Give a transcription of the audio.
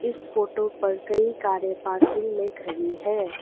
इस फोटो पर कई कारें पार्किंग में खड़ी हैं।